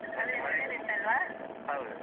ಒಳ್ಳೆದಿತ್ತಲ್ವ?